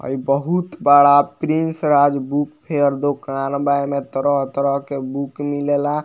हई बहुत बड़ा प्रिंस राजबूक फेयर दूकान बा | एमे तरह तरह के बुक मिलेला।